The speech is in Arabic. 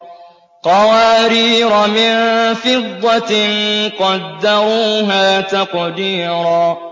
قَوَارِيرَ مِن فِضَّةٍ قَدَّرُوهَا تَقْدِيرًا